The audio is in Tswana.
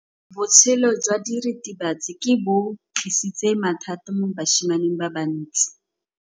Botshelo jwa diritibatsi ke bo tlisitse mathata mo basimaneng ba bantsi.